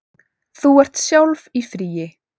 Þú ert sjálf í fríi.